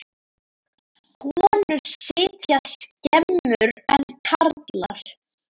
Konur sitja skemur en karlar.